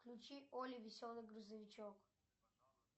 включи олли веселый грузовичок